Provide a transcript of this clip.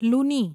લુની